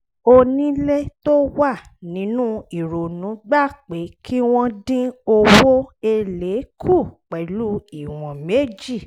onílé tó wà nínú ìrònú gbà pé kí wọ́n dín owó èlé kù pẹ̀lú ìwọ̀n méjì